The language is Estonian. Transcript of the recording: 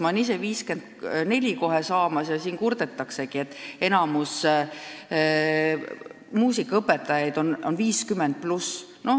Ma ise saan kohe 54-aastaseks ja kurdetaksegi, et enamik muusikaõpetajaid on vanuses 50+.